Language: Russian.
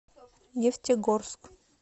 нефтегорск